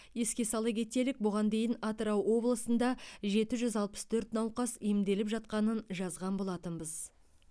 еске сала кетелік бұған дейін атырау облысында жеті жүз алпыс төрт науқас емделіп жатқанын жазған болатынбыз